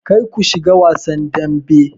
Kar ku shiga wasan dambe!